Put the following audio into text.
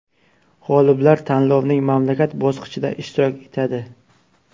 G‘oliblar tanlovning mamlakat bosqichida ishtirok etadi.